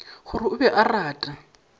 gore o be a rata